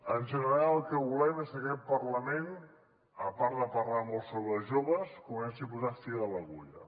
en general el que volem és que aquest parlament a part de parlar molt sobre els joves comenci a posar fil a l’agulla